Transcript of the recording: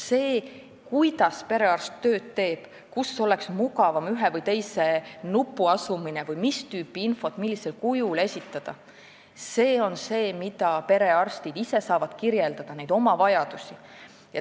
See, kuidas perearst oma tööd teeb, kus oleks ühe või teise nupu mugavam asukoht või mis tüüpi infot millisel kujul esitada, on see, mida perearstid ise saavad kirjeldada, nad saavad kirjeldada oma vajadusi.